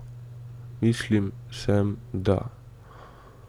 Mislim, sem, da.